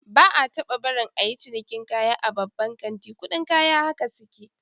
Ba'a taba barin a yi cinikin kaya a babban kanti, kudin kaya haka suke